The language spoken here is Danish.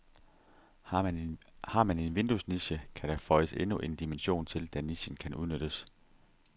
Har man en vinduesniche, kan der føjes endnu en dimension til, da nichen kan udnyttes.